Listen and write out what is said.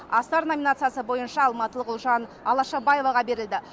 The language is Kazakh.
асар номинациясы бойынша алматылық ұлжан алашабаеваға берілді